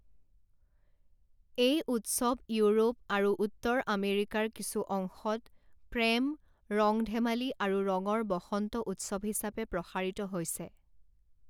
এই উৎসৱ ইউৰোপ আৰু উত্তৰ আমেৰিকাৰ কিছু অংশত প্ৰেম ৰং-ধেমালি আৰু ৰঙৰ বসন্ত উৎসৱ হিচাপে প্ৰসাৰিত হৈছে।